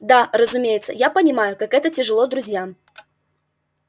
да разумеется я понимаю как это тяжело друзьям